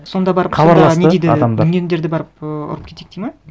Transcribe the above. сонда барып сонда не дейді дүнгендерді барып ы ұрып кетейік дейді ме